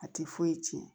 A tɛ foyi tiɲɛ